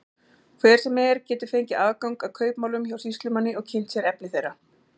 Hver sem er getur fengið aðgang að kaupmálum hjá sýslumanni og kynnt sér efni þeirra.